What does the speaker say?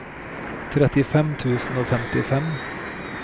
trettifem tusen og femtifem